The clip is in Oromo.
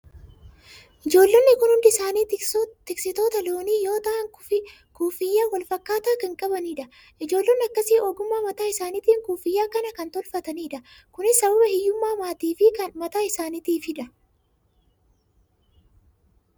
Ijoollonni kun hundi isaanii tiksitoota loonii yoo ta'an, kuffiyya wal fakkaataa kan qabnidha. Ijoollonni akkasii ogummaa mataa isaaniitiin kuffiyyaa kana kan tolfatanidha. Kunis sababa hiyyummaa maatii fi kan mataa isaaniifidha.